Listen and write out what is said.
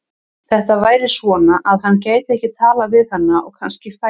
Þetta væri svona, að hann gæti ekkert talað við hana og kannski færi hún.